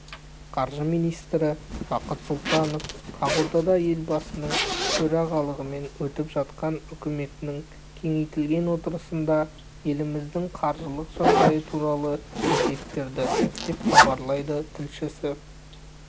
қаржы министрі бақыт сұлтанов ақордада елбасының төрағалығымен өтіп жатқан үкіметінің кеңейтілген отырысында еліміздің қаржылық жағдайы туралы есеп берді деп хабарлайды тілшісі